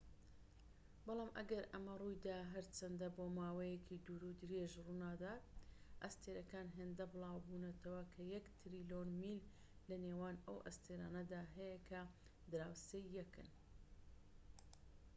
بەڵام ئەگەر ئەمە ڕوویدا هەرچەندە بۆماوەیەکی دوورودرێژ ڕوونادات ئەستێرەکان هێندە بلاوبونەتەوە کە یەك تریلیۆن میل لەنێوان ئەو ئەستێرانەدا هەیە کە دراوسێی یەکن